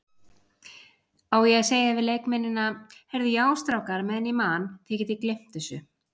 Á ég að segja við leikmennina, Heyrðu já strákar meðan ég man, þið gleymt þessu?